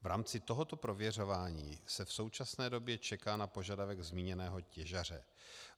V rámci tohoto prověřování se v současné době čeká na požadavek zmíněného těžaře.